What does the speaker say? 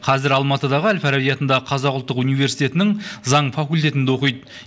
қазір алматыдағы әл фараби атындағы қазақ ұлттық университетінің заң факультетінде оқиды